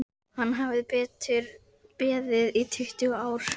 Hann hafði beðið í tuttugu ár.